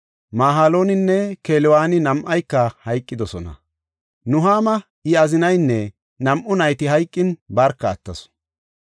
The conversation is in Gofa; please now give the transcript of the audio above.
Mahalooninne Kelewooni nam7ayka hayqidosona. Nuhaama I azinaynne nam7u nayti hayqin barka attasu.